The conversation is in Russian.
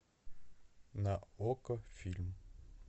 на окко фильм